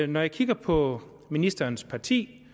når jeg kigger på ministerens parti